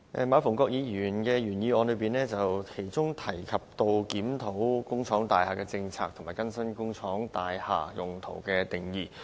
馬逢國議員的原議案提到檢討工廠大廈政策和更新工廈用途的定義。